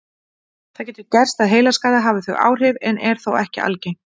Það getur gerst að heilaskaði hafi þau áhrif en er þó ekki algengt.